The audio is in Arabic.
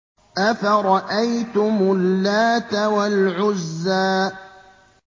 أَفَرَأَيْتُمُ اللَّاتَ وَالْعُزَّىٰ